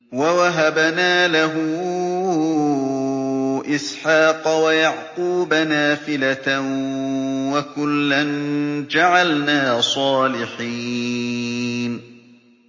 وَوَهَبْنَا لَهُ إِسْحَاقَ وَيَعْقُوبَ نَافِلَةً ۖ وَكُلًّا جَعَلْنَا صَالِحِينَ